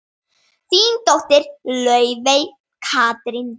Þín dóttir, Laufey Katrín.